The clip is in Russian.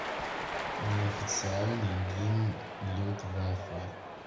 неофициальный гимн люфтваффе